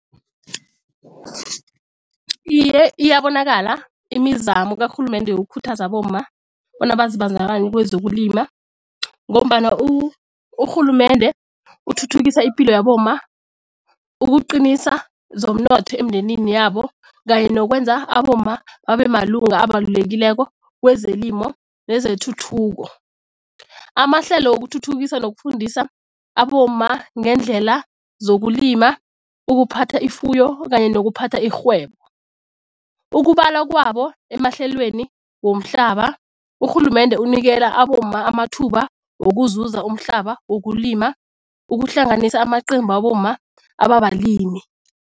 Iye, iyabonakala imizamo karhulumende yokukhuthaza abomma bona bazibandakanye kwezokulima ngombana urhulumende uthuthukisa ipilo yabomma ukuqinisa zomnotho emindenini yabo kanye nokwenza abomma babe malunga abalulekileko kwezelimo nezethuthuko. Amahlelo wokuthuthukisa nokufundisa abomma ngendlela zokulima, ukuphatha ifuyo kanye nokuphatha irhwebo, ukubalwa kwabo emahlelweni womhlaba. Urhulumende unikela abomma amathuba wokuzuza umhlaba wokulima ukuhlanganisa amaqembu wabomma ababalimi.